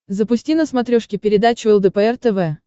запусти на смотрешке передачу лдпр тв